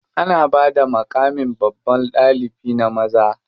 Ana bada maƙamin babban ɗalibi na maza.